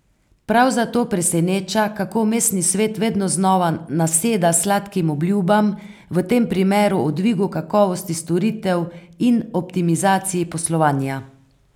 Prav zato preseneča, kako mestni svet vedno znova naseda sladkim obljubam, v tem primeru o dvigu kakovosti storitev in optimizaciji poslovanja.